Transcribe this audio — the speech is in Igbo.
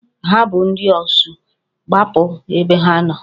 Ha bụ ndị Osu, gbapụ ebe ha nọ!